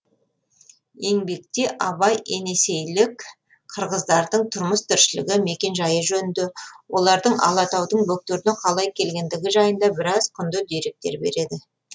еңбекте абай енесейлік қырғыздардың тұрмыс тіршілігі мекен жайы жөнінде олардың алатаудың бөктеріне қалай келгендігі жайында біраз құнды деректер береді